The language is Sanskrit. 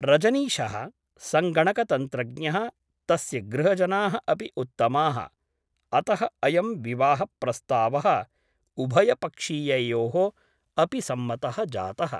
रजनीशः सङ्गणकतन्त्रज्ञः तस्य गृहजनाः अपि उत्तमाः । अतः अयं विवाहप्रस्तावः उभयपक्षीययोः अपि सम्मतः जातः ।